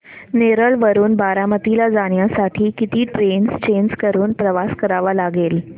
नेरळ वरून बारामती ला जाण्यासाठी किती ट्रेन्स चेंज करून प्रवास करावा लागेल